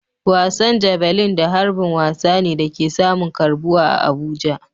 Wasan Javelin da harbin wasa ne da ke samun karbuwa a Abuja.